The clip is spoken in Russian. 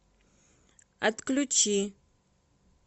отключи